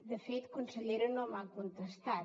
de fet consellera no m’ha contestat